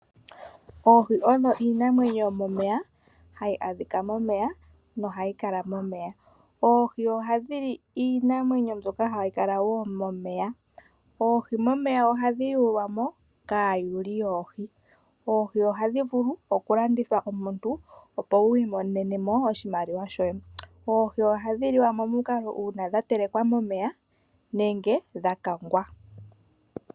Oohi odho iinamwenyo yomomeya, hayi adhika momeya, nohayi kala momeya. Oohi ohadhi li iinamwenyo mbyoka hayi kala wo momeya. Oohi momeya ohadhi yulwa mo kaayuli yoohi. Oohi ohadhi vulu okulandithwa, omuntu opo wu imonene mo oshimaliwa shoye. Oohi ohadhi liwa momukalo uuna dha telekwa momeya nenge dha kangwa.